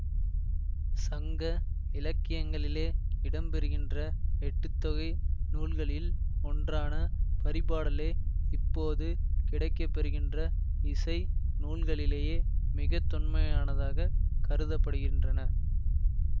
சங்க இலக்கியங்களிலே இடம்பெறுகின்ற எட்டுத்தொகை நூல்களில் ஒன்றான பரிபாடலே இப்போது கிடைக்கப்பெறுகின்ற இசை நூல்களிலேயே மிகத்தொன்மையானதாகக் கருத படுகின்றன